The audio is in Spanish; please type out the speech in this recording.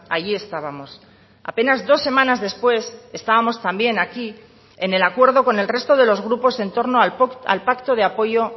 allí estábamos apenas dos semanas después estábamos también aquí en el acuerdo con el resto de los grupos en torno al pacto de apoyo